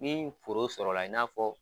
Ni foro sɔrɔla la i n'a fɔ.